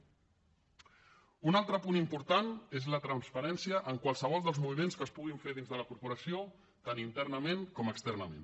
un altre punt important és la transparència en qualsevol dels moviments que es puguin fer dins de la corporació tant internament com externament